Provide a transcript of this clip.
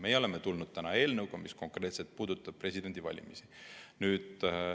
Meie oleme tulnud välja eelnõuga, mis puudutab konkreetselt presidendivalimisi.